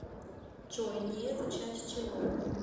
джой ни это часть чего